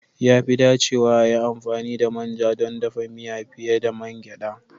Ya fi dacewa a yi amfani da manja don dafa miya fiye da mangeda